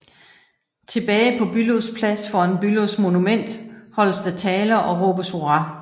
Tilbage på Bülows Plads foran Bülows Monument holdes der taler og råbes hurra